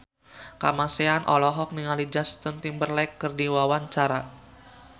Kamasean olohok ningali Justin Timberlake keur diwawancara